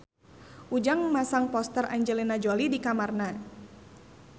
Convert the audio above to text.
Ujang masang poster Angelina Jolie di kamarna